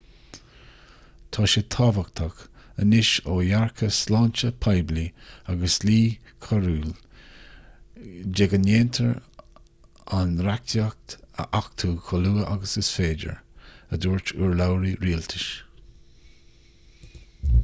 tá sé tábhachtach anois ó dhearcadh sláinte poiblí agus dlí coiriúil de go ndéantar an reachtaíocht a achtú chomh luath agus is féidir a dúirt urlabhraí rialtais